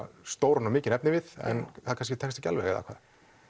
stóran og mikinn efnivið en það kannski tekst ekki alveg eða hvað